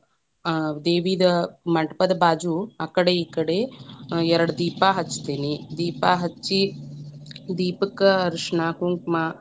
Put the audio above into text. ಆ ದೇವಿದ ಮಂಟಪದ ಬಾಜು ಅಕ್ಕಡೆ, ಇಕ್ಕಡೆ ಎರಡ ದೀಪಾ ಹಚ್ಚತೇನಿ, ದೀಪಾ ಹಚ್ಚಿ ದೀಪಕ್ಕ ಅರಷಣ, ಕುಂಕುಮ.